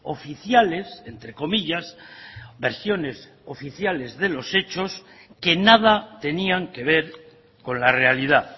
oficiales entrecomillas de los hechos que nada tenían que ver con la realidad